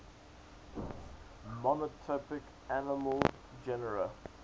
monotypic mammal genera